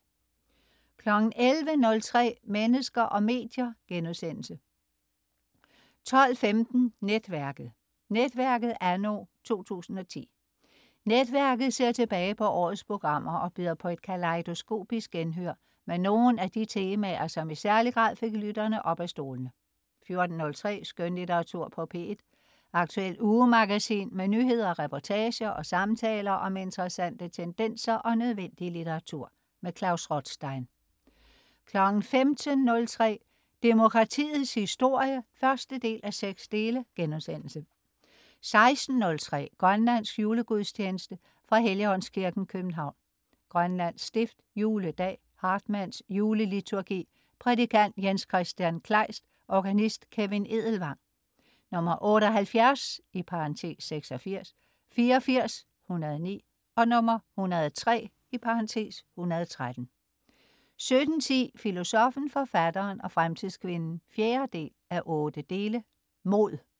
11.03 Mennesker og medier* 12.15 Netværket. "Netværket" anno 2010. "Netværket" ser tilbage på årets programmer og byder på et kalejdoskopisk genhør med nogle af de temaer, som i særlig grad fik lytterne op af stolene 14.03 Skønlitteratur på P1. Aktuelt ugemagasin med nyheder, reportager og samtaler om interessante tendenser og nødvendig litteratur. Klaus Rothstein 15.03 Demokratiets historie 1:6* 16.03 Grønlandsk julegudstjeneste. Fra Helligåndskirken, København. (Grønlands stift). Juledag. (Hartmanns juleliturgi). Prædikant: Jens-Kristian Kleist. Organist: Kevin Edelvang. 78 (76), 84 (109), 103 (113) 17.10 Filosoffen, forfatteren og fremtidskvinden 4:8. Mod